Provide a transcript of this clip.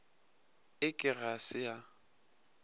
e ke ga se ya